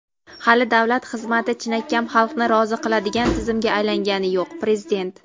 hali davlat xizmati chinakam xalqni rozi qiladigan tizimga aylangani yo‘q – Prezident.